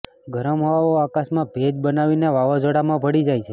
ગરમ હવાઓ આકાશમાં ભેજ બનાવીને વાવઝોડામાં ભળી જાય છે